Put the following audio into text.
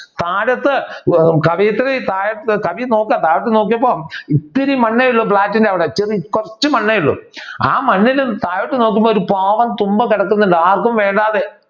താഴത്ത് കവയത്രി താഴത്ത് കവി നോക്കാ താഴത്ത് നോക്കിയപ്പോ ഇത്തിരി മണ്ണേ ഉള്ളൂ ഫ്ലാറ്റിന്റെ അവിടെ ചെറി കുറച്ചു മണ്ണേ ഉള്ളൂ ആ മണ്ണിലും താഴത്ത് നോക്കുമ്പോൾ ഒരു പാവം തുമ്പ കിടക്കുന്നുണ്ട്. ആർക്കും വേണ്ടാതെ.